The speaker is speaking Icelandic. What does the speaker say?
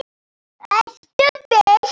Ertu viss?